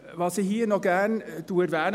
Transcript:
Was ich hier noch gerne erwähne …